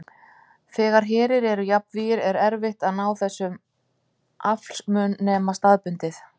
Þegar herir eru jafnvígir er erfitt að ná þessum aflsmun nema staðbundið.